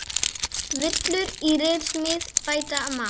Villur í ritsmíð bæta má.